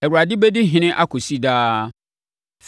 “ Awurade bɛdi ɔhene akɔsi daa.”